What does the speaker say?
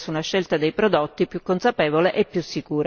Per questi motivi ho votato a favore della risoluzione.